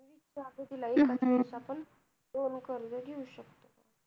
असं एका वेळेला पण दोन कर्ज घेऊ शकतात.